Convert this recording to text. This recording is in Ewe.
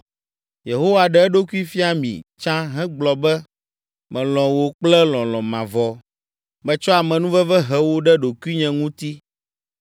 Yehowa ɖe eɖokui fia mi tsã hegblɔ be, “Melɔ̃ wò kple lɔlɔ̃ mavɔ, metsɔ amenuveve he wò ɖe ɖokuinye ŋuti.